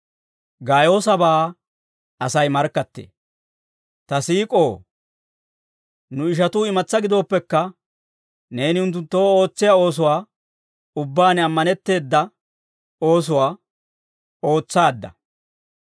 Ta siik'oo, nu ishatuu imatsaa gidooppekka, neeni unttunttoo ootsiyaa oosuwaa ubbaan ammanetteeda oosuwaa ootsaadda.